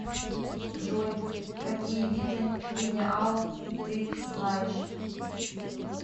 джой какие виды генеалог ты знаешь